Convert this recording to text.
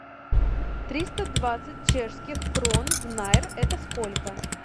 триста двадцать чешских крон в найр это сколько